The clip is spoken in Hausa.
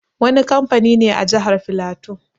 Wani kamfani ne a Jahar Filato.